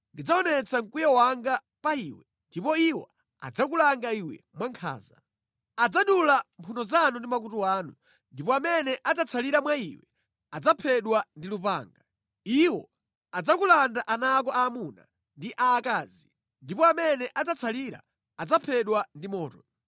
Ndidzaonetsa mkwiyo wanga pa iwe ndipo iwo adzakulanga iwe mwankhanza. Adzadula mphuno zanu ndi makutu anu, ndipo amene adzatsalira mwa iwe adzaphedwa ndi lupanga. Iwo adzakulanda ana ako aamuna ndi aakazi ndipo amene adzatsalira adzaphedwa ndi moto.